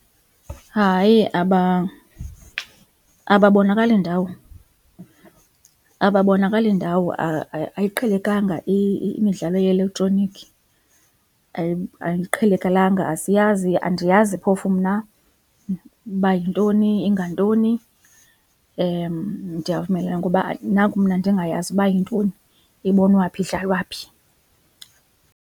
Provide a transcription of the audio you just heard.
Hayi ababonakali ndawo, ababonakali ndawo ayiqhelekanga imidlalo ye-elektroniki, ayiqhelekelanga asiyazi andiyazi phofu mna uba yintoni, ingantoni ndiyavumelana ngoba naku mna ndingayazi uba yintoni, ibonwa phi, idlalwa phi.